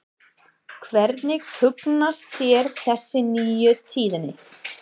Hvernig hugnast þér þessi nýju tíðindi?